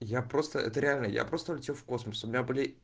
я просто это реально я просто улетел в космос у меня были